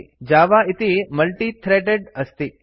Java इति multi - threaded अस्ति